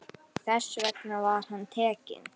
Þess vegna var hann tekinn.